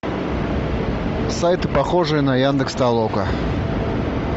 сайты похожие на яндекс толока